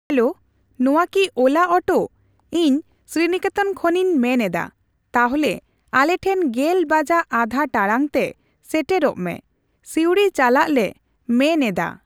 Hello ᱱᱚᱣᱟ ᱠᱤ ᱳᱞᱟᱣ ᱳᱴᱚ ᱤᱧ ᱥᱤᱨᱤᱱᱤᱠᱮᱛᱚᱱ ᱠᱷᱚᱱᱤᱧ ᱢᱮᱱ ᱮᱫᱟ ᱛᱟᱦᱞᱮ ᱟᱞᱮ ᱴᱷᱮᱱ ᱜᱮᱞ ᱵᱟᱡᱟᱜ ᱟᱫᱷᱟ ᱴᱟᱲᱟᱝ ᱛᱮ ᱥᱮᱴᱮᱨᱚᱜᱢᱮ ᱥᱤᱣᱲᱤ ᱪᱟᱞᱟᱜ ᱞᱮ ᱢᱮᱱ ᱮᱫᱟ᱾